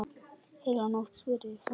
Heila nótt? spurði forviða stúlka.